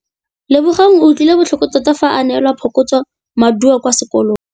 Lebogang o utlwile botlhoko tota fa a neelwa phokotsômaduô kwa sekolong.